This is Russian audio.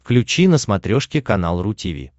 включи на смотрешке канал ру ти ви